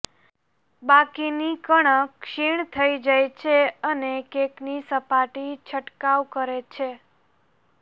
બાકીની કણક ક્ષીણ થઈ જાય છે અને કેકની સપાટી છંટકાવ કરે છે